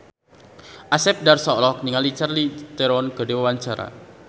Asep Darso olohok ningali Charlize Theron keur diwawancara